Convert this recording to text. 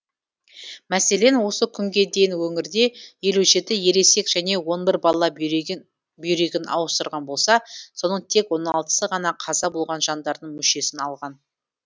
мәселен осы күнге дейін өңірде елу жеті ересек және он бір бала бүйрегін ауыстырған болса соның тек он алтысы ғана қаза болған жандардың мүшесін алған